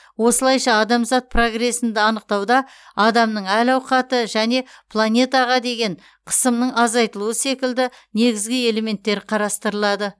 осылайша адамзат прогресін анықтауда адамның әл ауқаты және планетаға деген қысымның азайтылуы секілді негізгі элементтер қарастырылады